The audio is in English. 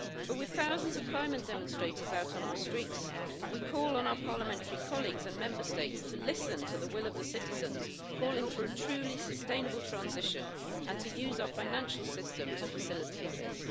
With thousands of climate demonstrators out on our streets, we call on our Parliamentary colleagues and Member States to listen to the will of the citizens, calling for a truly sustainable transition and to use our financial system to facilitate this.